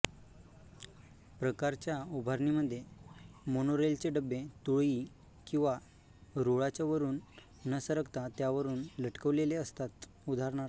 प्रकारच्या उभारणींमधे मोनोरेलचे डबे तुळई किंवा रुळाच्या वरून न सरकता त्यावरून लटकवलेले असतात उदा